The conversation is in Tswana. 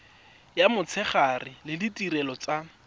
ya motshegare le ditirelo tsa